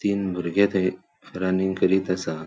तीन बुर्गे थंय रनिंग करीत असा.